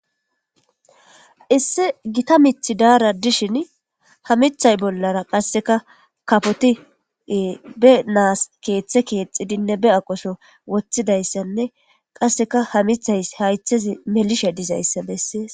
Issi gita mith dara dishn ha mithay bollara aseka kafoti be naasi keethe keexidinne be aqoso wothidaysanne qaseka ha mithaysi haythezi melishe dizaysa beses